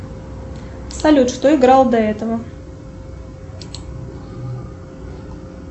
салют что играло до этого